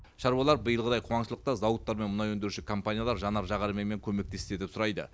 шаруалар биылғыдай қуаңшылықта зауыттар мен мұнай өндіруші компаниялар жанар жағармаймен көмектессе деп сұрайды